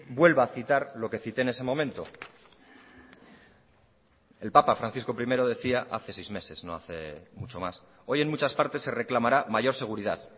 vuelva a citar lo que cité en ese momento el papa francisco primero decía hace seis meses no hace mucho más hoy en muchas partes se reclamará mayor seguridad